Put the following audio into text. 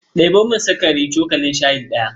Ɗebo min sukari cokalin shayi ɗaya.